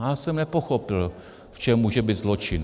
Já jsem nepochopil, v čem může být zločin.